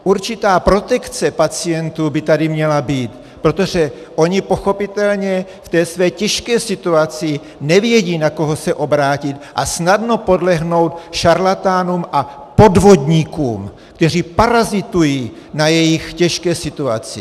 Určitá protekce pacientů by tady měla být, protože oni pochopitelně v té své těžké situaci nevědí, na koho se obrátit, a snadno podlehnou šarlatánům a podvodníkům, kteří parazitují na jejich těžké situaci.